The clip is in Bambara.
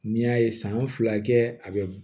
N'i y'a ye san fila kɛ a bɛ